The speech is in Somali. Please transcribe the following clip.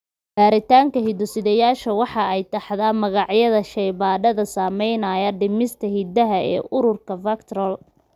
baritanka hiddo sideyasha waxa ay taxdaa magacyada shaybaadhada samaynaya baadhista hidaha ee ururka VACTERL.